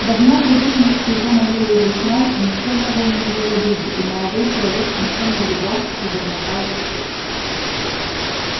давно привыкнув к его манере изъясняться никто не был на него в обиде и молодой человек смущённо улыбался и бормотал в ответ